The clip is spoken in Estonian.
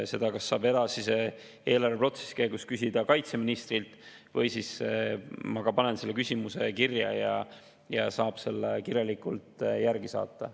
Seda saab kas edasise eelarveprotsessi käigus kaitseministrilt küsida või siis – ma panen selle küsimuse kirja – saab vastuse kirjalikult saata.